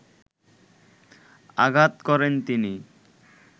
আঘাত করেন তিনি